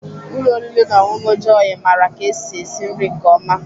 Ụlọ oriri na ọṅụṅụ Jọyị maara ka esi esi nri nke ọma.